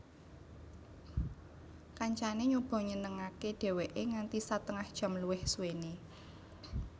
Kancané nyoba ngenengaké dheweké nganti satengah jam luwih suwené